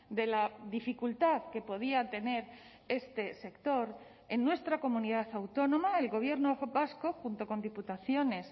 de la dificultad que podía tener este sector en nuestra comunidad autónoma el gobierno vasco junto con diputaciones